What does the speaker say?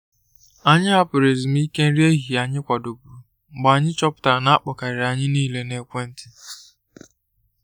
Anyị hapụrụ ezumike nri ehihie anyị kwàdòburu mgbe anyị chọpụtara na akpọ karịrị anyị niile na ekwentị.